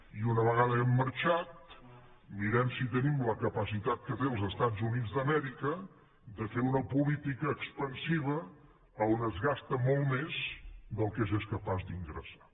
i una vegada hàgim marxat mirem si tenim la capacitat que tenen els estats units d’amèrica de fer una política expansiva on es gasta molt més del que s’és capaç d’ingressar